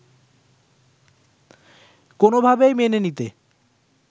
কোনোভাবেই মেনে নিতে